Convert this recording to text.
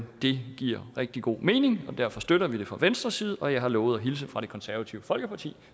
det giver rigtig god mening derfor støtter vi det fra venstres side og jeg har lovet at hilse fra det konservative folkeparti